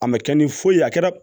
A ma kɛ ni foyi ye a kɛra